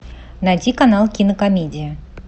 найти канал кинокомедия